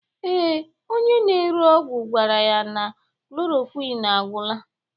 Ee, Onye na-ere ọgwụ gwara ya na klorokwin agwụla.